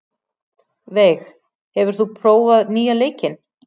Veig, hefur þú prófað nýja leikinn?